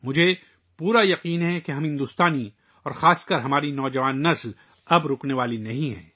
مجھے پورا یقین ہے کہ ہم بھارتی اور خاص طور پر ہماری نوجوان نسل اب رکنے والی نہیں ہے